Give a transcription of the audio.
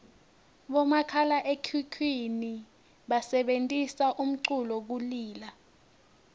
bomakhalaekhukhwini basebentisa umculu kulila